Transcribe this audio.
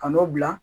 Ka n'o bila